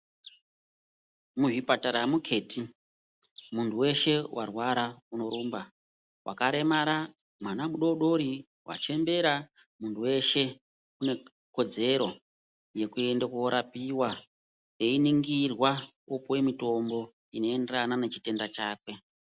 Muzvipatara hamuketi, munhu weshe warwara unorumba. Wakaremara, mwana mudodori, wachembera munhu weshe unekodzero yekuende korapiwa, einingirwa kupiwe mitombo inoenderana nechitenda chakwe.